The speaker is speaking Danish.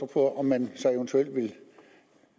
på om man så eventuelt vil